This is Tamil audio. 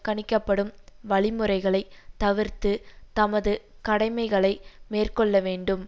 கணிக்கப்படும் வழிமுறைகளை தவிர்த்து தமது கடமைகளை மேற்கொள்ள வேண்டும்